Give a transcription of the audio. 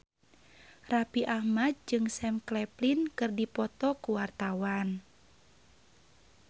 Raffi Ahmad jeung Sam Claflin keur dipoto ku wartawan